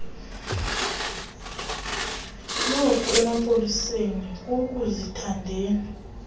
noku emapoliseni kukuzithandela